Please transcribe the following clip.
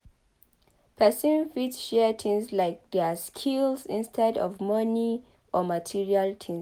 Person fit share things like their skills instead of money or material things